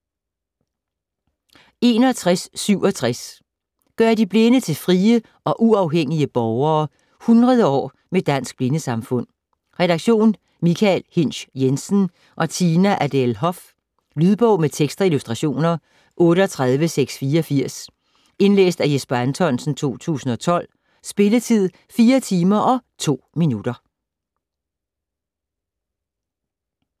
61.67 ...gøre de Blinde til frie og uafhængige borgere: 100 år med Dansk Blindesamfund Redaktion: Michael Hinsch Jensen og Tina Adele Hoff. Lydbog med tekst og illustrationer 38684 Indlæst af Jesper Anthonsen, 2012. Spilletid: 4 timer, 2 minutter.